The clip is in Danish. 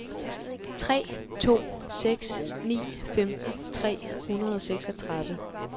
tre to seks ni femten tre hundrede og seksogtredive